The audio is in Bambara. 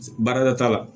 Baarada t'a la